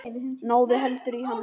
Náðu heldur í hann.